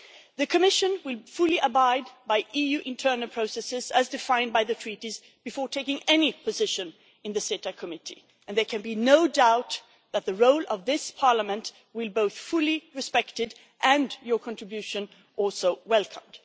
The Commission will fully abide by EU internal processes, as defined by the Treaties, before taking any position in the CETA committee, and there can be no doubt that the role of this Parliament will be both fully respected and your contribution is also welcomed.